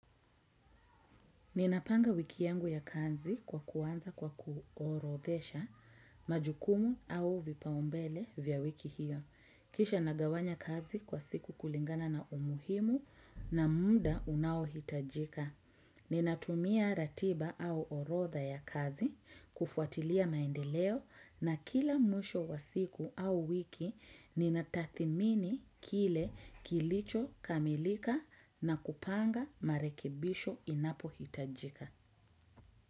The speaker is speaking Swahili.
Ninapanga wiki yangu ya kazi kwa kuanza kwa kuorodhesha majukumu au vipaumbele vya wiki hiyo. Kisha nagawanya kazi kwa siku kulingana na umuhimu na muda unaohitajika. Ninatumia ratiba au orodha ya kazi kufuatilia maendeleo na kila mwisho wa siku au wiki ninatathimini kile kilicho kamilika na kupanga marekibisho inapohitajika.